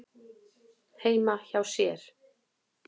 heima hjá sér.